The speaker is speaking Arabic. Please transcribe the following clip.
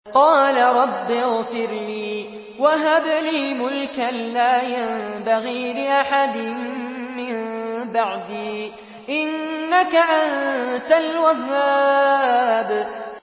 قَالَ رَبِّ اغْفِرْ لِي وَهَبْ لِي مُلْكًا لَّا يَنبَغِي لِأَحَدٍ مِّن بَعْدِي ۖ إِنَّكَ أَنتَ الْوَهَّابُ